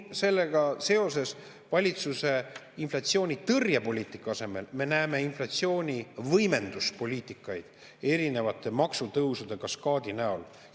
Sellega seoses näeme valitsuse inflatsioonitõrje poliitika asemel inflatsioonivõimenduse poliitikat erinevate maksutõusude kaskaadi näol.